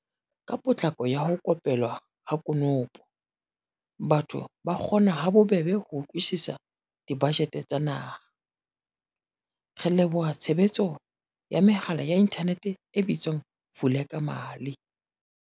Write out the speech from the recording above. Ka potlako ya ho ko pelwa ha konopo, batho ba kgona ha bobebe ho utlwisisa dibajete tsa naha, re leboha tshebetso ya mehala ya inthanete e bitswang Vulekamali.